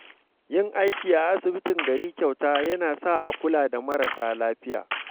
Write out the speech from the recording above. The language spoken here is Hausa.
Yin aiki a asibitin gari kyauta yana sa a kula da marasa lafiya.